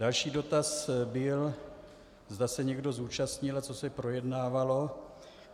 Další dotaz byl, zda se někdo zúčastnil a co se projednávalo.